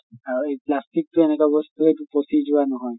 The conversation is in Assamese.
অ এই plastic তো এনেকা বস্তু এইটো পচি যোৱা নহয়।